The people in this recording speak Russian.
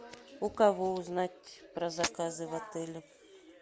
у кого узнать про заказы в отеле